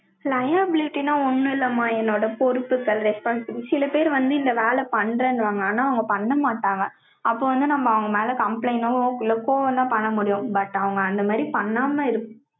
Liabilityன்னா, ஒண்ணும் இல்லைம்மா, என்னோட பொறுப்புகள், response. சில பேர் வந்து, இந்த வேலை பண்றேன்னுவாங்க. ஆனா, அவங்க பண்ண மாட்டாங்க. அப்ப வந்து, நம்ம, அவங்க மேல, complaint ஓ, இல்ல, கோவம்தான், பண்ண முடியும். but, அவங்க, அந்த மாரி பண்ணாம,